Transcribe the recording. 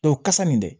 kasa nin dɛ